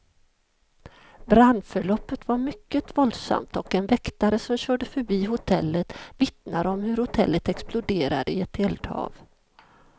Brandförloppet var mycket våldsamt, och en väktare som körde förbi hotellet vittnar om hur hotellet exploderade i ett eldhav.